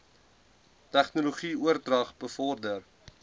tegnologie oordrag bevorder